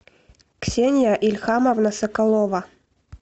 ксения ильхамовна соколова